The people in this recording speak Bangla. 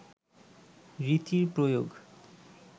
রীতির প্রয়োগ